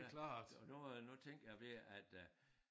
Ja og der er nu tænker jeg ved at øh